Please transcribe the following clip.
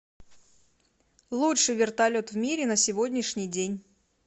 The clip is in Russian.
лучший вертолет в мире на сегодняшний день